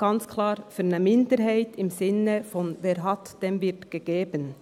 – Ganz klar für eine Minderheit im Sinne von: Wer hat, dem wird gegeben.